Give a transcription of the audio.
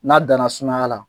N'a dana sumaya la